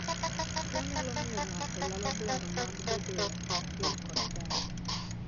Tuo nyalo miyo ng'ato lalo dwaro mag bedoe achiel kod jaode.